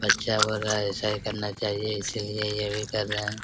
अच्छा वाला ऐसा ही करना चाहिये इसलिए ये भी कर रहे हैं।